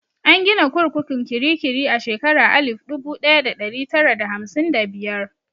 An gina kurkukun kirikiri a shekara alif dubu ɗaya da ɗari tara da hamsin da biyar.